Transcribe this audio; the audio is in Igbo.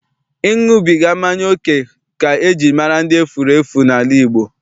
Ịṅụbiga mmanya oke ka eji mara ndị efurefu n'ala Igbo.